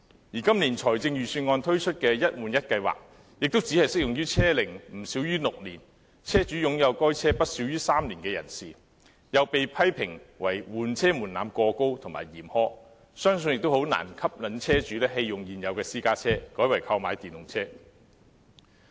而今年財政預算案推出的"一換一"計劃亦只適用於車齡不少於6年、車主擁有該車不少於3年的人士，又被批評為換車門檻過高和嚴苛，相信難以吸引車主棄用現有私家車，改為購買電動車。